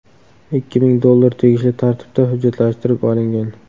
Ikki ming dollar tegishli tartibda hujjatlashtirib olingan.